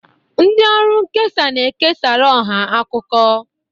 Ndị ọrụ nkesa na-ekesara ọha akụkọ.